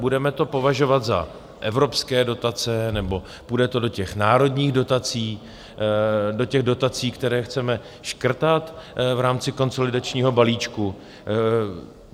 Budeme to považovat za evropské dotace, nebo to půjde do těch národních dotací, do těch dotací, které chceme škrtat v rámci konsolidačního balíčku?